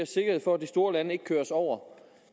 sikkerhed for at de store lande ikke kører os over